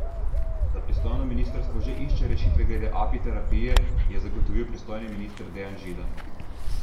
Da pristojno ministrstvo že išče rešitve glede apiterapije, je zagotovil pristojni minister Dejan Židan.